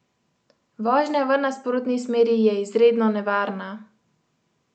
Vožnja v nasprotni smeri je izredno nevarna!